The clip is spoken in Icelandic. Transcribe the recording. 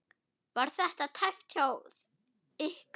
Var þetta tæpt hjá ykkur?